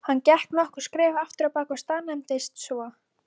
Hann gekk nokkur skref afturábak og staðnæmdist svo.